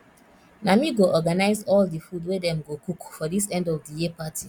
na me go organize all the food wey dem go cook for this end of the year party